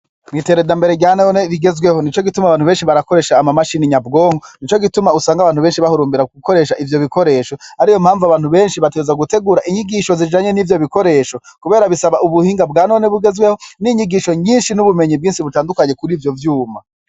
Iterambere rya none rigezweho nico gituma abantu benshi bakoresha imashini nyabwonko , nico gituma usanga abantu benshi usanga bahurumbira gukoresha ivyo bikoresho. Ariyo mpamvu abantu benshi bategerezwa gutegura inyigisho zijanye nivyo bikoresho kubera bisaba ubuhinga bwa none bugezweho n’inyigisho nyishi n’ibumenyi bwinshi butandukanye kurivyo vyuma.